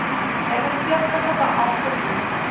rekenpligtige beampte moet